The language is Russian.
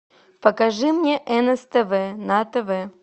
покажи мне нств на тв